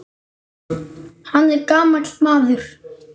Hann er gamall maður.